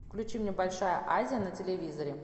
включи мне большая азия на телевизоре